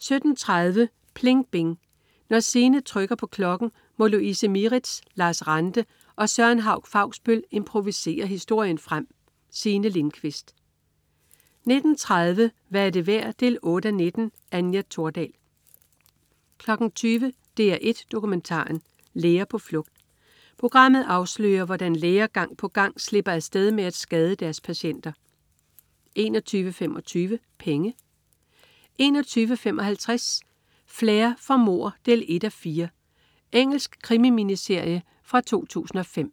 17.30 PLING BING. Når Signe trykker på klokken, må Louise Mieritz, Lars Ranthe og Søren Hauch-Fausbøll improvisere historien frem. Signe Lindkvist 19.30 Hvad er det værd 8:19. Anja Thordal 20.00 DR1 Dokumentaren. Læger på flugt. Programmet afslører, hvordan læger gang på gang slipper af sted med at skade deres patienter 21.25 Penge 21.55 Flair for mord 1:4. Engelsk krimi-miniserie fra 2005